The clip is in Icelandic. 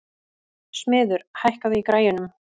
Smiður, hækkaðu í græjunum.